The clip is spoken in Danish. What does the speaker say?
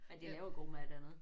Men de laver god mad dernede